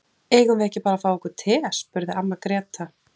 Eigum við ekki bara að fá okkur te, spurði amma Gréta.